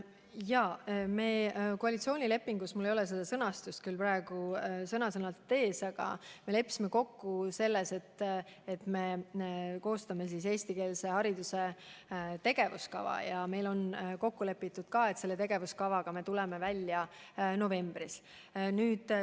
Jaa, me koalitsioonilepingus – mul ei ole seda küll praegu sõna-sõnalt ees – leppisime kokku, et koostame eestikeelse hariduse tegevuskava, ja meil on kokku lepitud, et selle tegevuskavaga me tuleme välja novembris.